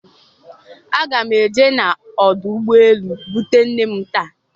Aga m eje n'ọdụ ụgbọelu bute nne m taa.